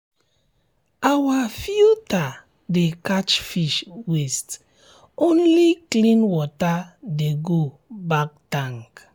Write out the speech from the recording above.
our filter dey catch fish waste only clean water dey go back tank